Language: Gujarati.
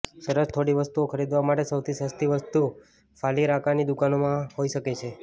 સરસ થોડી વસ્તુઓ ખરીદવા માટે સૌથી સસ્તી વસ્તુ ફાલિરાકીની દુકાનોમાં હોઈ શકે છે